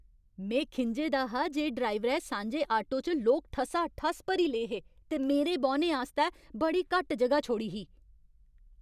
में खिंझे दा हा जे ड्राइवरै सांझे आटो च लोक ठसाठस भरी ले हे ते मेरे बौह्ने आस्तै बड़ी घट्ट जगह छोड़ी ही।